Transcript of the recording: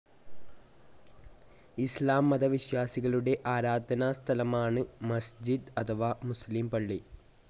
ഇസ്‌ലാം മത വിശ്വാസികളുടെ ആരാധനാസ്ഥലമാണ് മസ്ജിദ് അഥവാ മുസ്‌ലിം പള്ളി.